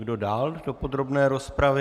Kdo dál do podrobné rozpravy?